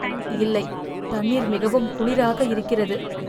இல்லை, தண்ணீர் மிகவும் குளிராக இருக்கிறது!